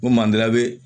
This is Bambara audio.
Ko mandenya bɛ